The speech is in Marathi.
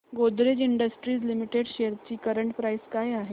गोदरेज इंडस्ट्रीज लिमिटेड शेअर्स ची करंट प्राइस काय आहे